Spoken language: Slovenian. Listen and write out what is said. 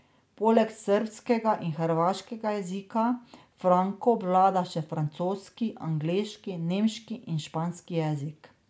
Poleg srbskega in hrvaškega jezika Franko obvlada še francoski, angleški, nemški in španski jezik.